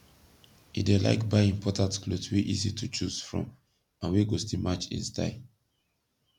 e dey laik buy important kloth wey easy to choose from and wey go still match en style